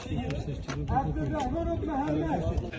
Ürəyin Məhəbbət, ürəyin Məhəmməd, Ürəyin Məhəmməd!